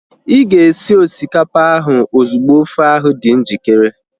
Ịga esi osikapa ahu ozugbo ofe ahu dị njikere